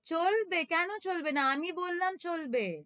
চলবে কেনো চলবে না? আমি বললাম চলবে,